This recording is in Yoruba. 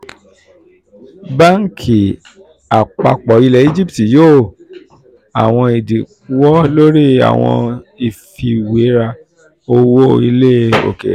báńkì àpapọ̀ ilẹ̀ egypt yo awọn idiwọn lórí àwọn ìfiwéra owó ilẹ̀ òkèèrè.